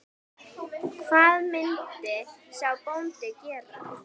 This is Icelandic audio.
Hvað myndi sá bóndi gera?